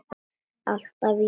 Alltaf ég.